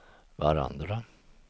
varandra